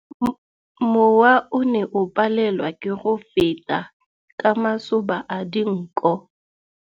Mowa o ne o palelwa ke go feta ka masoba a dinko.